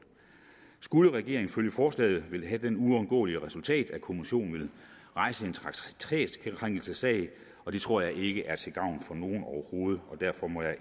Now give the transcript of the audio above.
skulle regeringen følge forslaget ville det have det uundgåelige resultat at kommissionen ville rejse en traktatkrænkelsessag og det tror jeg ikke er til gavn for nogen overhovedet derfor må jeg